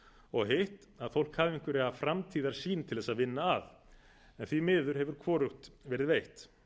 og hitt að fólk hafi einhverja framtíðarsýn til þess að vinna að en því miður hefur hvorugt verið veitt